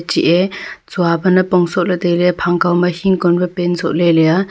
chia chua pe nipong soh ley tai ley phang kaw ma hingcon pe pant soh ley le a.